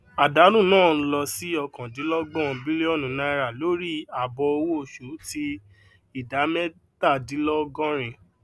àdánù náà n lọ sí ọkandínlọgbọn bílíọnù náírà lórí àbọ owó oṣù ti ìdá mẹtadínlọgọrin